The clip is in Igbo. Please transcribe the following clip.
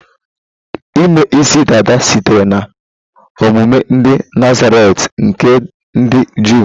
Ime isi dada sitere na omume ndị Nazaretị nke ndị Jụụ.